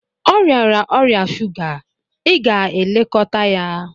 Ọ rịara ọrịa shuga, ị ga-elekọta ya!